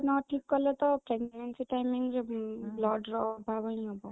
ନ ଠିକ କଲେ ତ pregnancy timing ରେ blood ର ଅଭାବ ହିଁ ହବ